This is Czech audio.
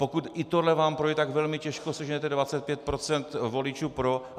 Pokud i tohle vám projde, tak velmi těžko seženete 25 % voličů pro.